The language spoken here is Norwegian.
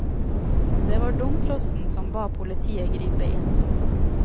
Det var domprosten som ba politiet gripe inn.